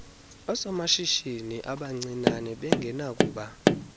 oosomashishini abancinane bengenakuba